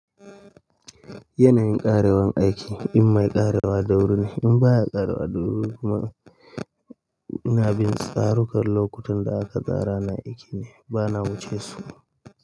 Yanayin ƙarewan aiki in mai ƙarewa da wuru ne, in ba ya ƙarewa da wuru kuma ina bin tsarukan lokutan da aka tsara na aiki ne bana wuce su.